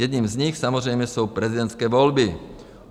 Jedním z nich samozřejmě jsou prezidentské volby.